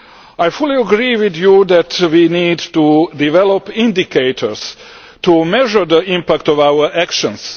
I fully agree with you that we need to develop indicators to measure the impact of our actions.